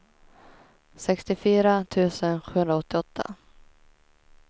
sextiofyra tusen sjuhundraåttioåtta